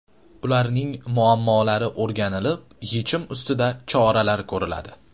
Ularning muammolari o‘rganilib yechim ustida choralar ko‘riladi.